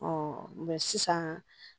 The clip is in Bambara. sisan